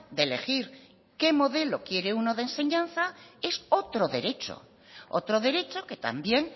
de elegir qué modelo quiere uno de enseñanza es otro derecho otro derecho que también